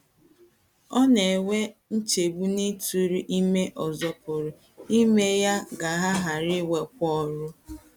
Ọ na - enwe nchegbu na ịtụrụ ime ọzọ pụrụ ime ka ya ghara inwekwa ọrụ.